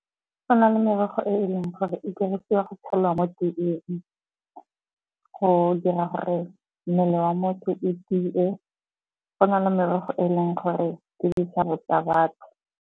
Go na le merogo e eleng gore e dirisiwa go tshela mo teeng, go dira gore mmele wa o tie. Go na le merogo eleng gore tsa batho.